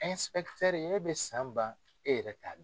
e bɛ san ban e yɛrɛ t'a dɔn.